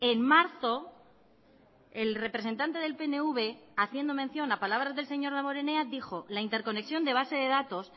en marzo el representante del pnv haciendo mención a palabras del señor damborenea dijo la interconexión de base de datos